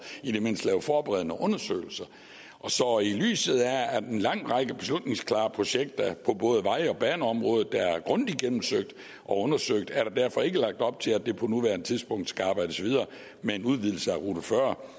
i det mindste lave forberedende undersøgelser så i lyset af at en lang række beslutningsklare projekter på både vej og baneområdet er grundigt undersøgt er der derfor ikke lagt op til at der på nuværende tidspunkt skal arbejdes videre med en udvidelse af a40